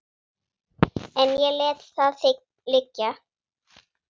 En ég lét það liggja.